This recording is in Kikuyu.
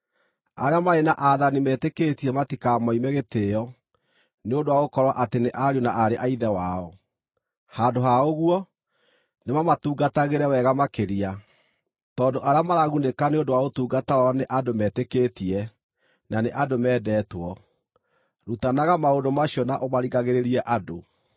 Arĩa marĩ na aathani metĩkĩtie matikamaime gĩtĩĩo nĩ ũndũ wa gũkorwo atĩ nĩ ariũ na aarĩ a Ithe wao. Handũ ha ũguo, nĩmamatungatagĩre wega makĩria, tondũ arĩa maragunĩka nĩ ũndũ wa ũtungata wao nĩ andũ metĩkĩtie, na nĩ andũ mendetwo. Rutanaga maũndũ macio na ũmaringagĩrĩrie andũ.